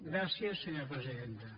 gràcies senyora presidenta